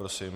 Prosím.